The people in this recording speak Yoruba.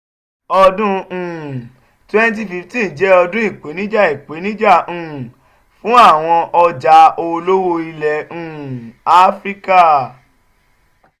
ọdún um 2015 jẹ́ ọdún ìpèníjà ìpèníjà um fún àwọn ọjà olówó ilẹ̀ um áfíríkà